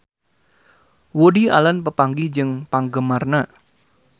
Woody Allen papanggih jeung penggemarna